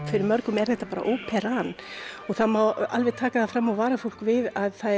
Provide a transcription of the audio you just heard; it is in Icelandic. fyrir mörgum er þetta bara óperan það má alveg taka fram og vara fólk við